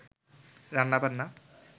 রান্নাবান্না